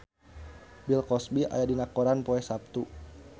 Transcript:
Bill Cosby aya dina koran poe Saptu